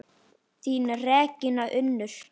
Þín Regína Unnur.